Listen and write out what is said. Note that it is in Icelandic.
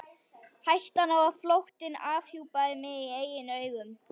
Hættan á að flóttinn afhjúpaði mig í eigin augum.